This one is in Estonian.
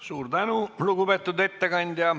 Suur tänu, lugupeetud ettekandja.